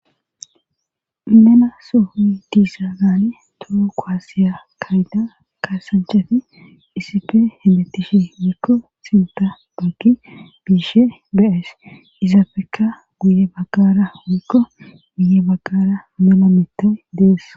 Mena soohuyi diisa naani too koaasiya kayda kaasanchafi issife himbetishe wiikko sinta baggi biishe bees izapfeka guye baggara wrikko guye baggara mela mita dees